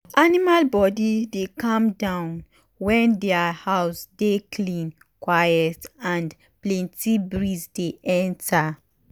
aminal body dey calm down when dia house dey clean quiet and plenty breeze dey enter.